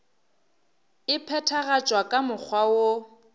e phethagatšwa ka mokgwa woo